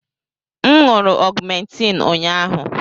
M ṅụụrụ ọgmentiin ụnyahụ.